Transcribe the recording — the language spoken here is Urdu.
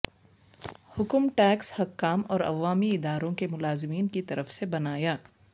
حکم ٹیکس حکام اور عوامی اداروں کے ملازمین کی طرف سے بنایا